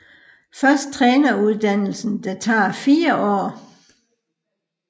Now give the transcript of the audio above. Først træneruddannelsen der tager 4 år